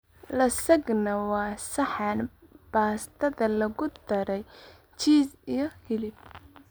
Lasagna waa saxan baastada lagu daray jiis iyo hilib.